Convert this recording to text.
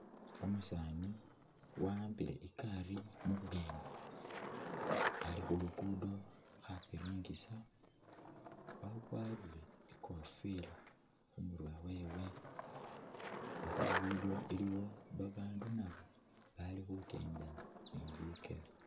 Umusani waambile ikari mubweni ali khulugudo kha’piringisa akwarire ikofila khumurwe khwewe ne khulugudo iliwo babandu nabo bali khukenda ni bikele.